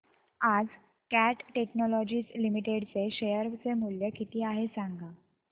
आज Cat technologies limited चे share चे मूल्य किती आहे सांगा